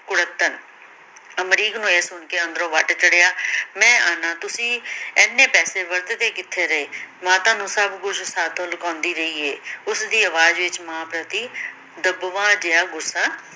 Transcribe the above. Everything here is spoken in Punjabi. ਕੁੜੱਤਣ, ਅਮਰੀਕ ਨੂੰ ਇਹ ਸੁਣ ਕੇ ਅੰਦਰੋਂ ਵੱਟ ਚੜ੍ਹਿਆ ਮੈ ਆਹਨਾ ਤੁਸੀ ਇੰਨੇ ਪੈਸੇ ਵਰਤਦੇ ਕਿਥੇ ਰਹੇ, ਮਾਤਾ ਨੂੰ ਸਬ ਕੁਛ ਸਾਥੋਂ ਲੁਕਾਉਂਦੀ ਰਹੀ ਏ ਉਸ ਦੀ ਅਵਾਜ ਵਿਚ ਮਾਂ ਪ੍ਰਤੀ ਦੱਬਵਾਂ ਜਿਹਾ ਗੁੱਸਾ